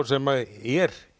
sem er